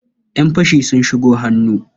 Ƴan fashi sun shigo hannu.